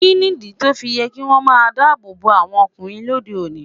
Kí nìdí tó fi yẹ kí wọ́n máa dádọ̀dọ́ àwọn ọkùnrin lóde òní?